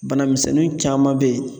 Bana misɛnnin caman be yen